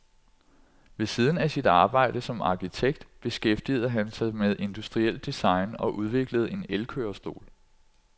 Ved siden af sit arbejde som arkitekt beskæftigede han sig med industrielt design og udviklede en elkørestol.